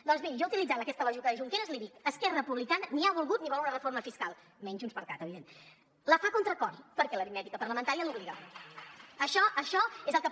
doncs miri jo utilitzant aquesta lògica de junqueras li dic esquerra republicana ni ha volgut ni vol una reforma fiscal menys junts per cat evidentment la fa a contracor perquè l’aritmètica parlamentària l’hi obliga